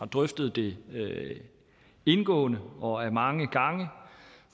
drøftet det indgående og mange gange